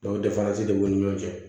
danzi de b'u ni ɲɔgɔn cɛ